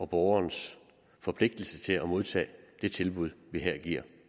borgerens forpligtelse til at modtage det tilbud vi her giver